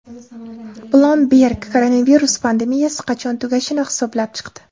Bloomberg koronavirus pandemiyasi qachon tugashini hisoblab chiqdi.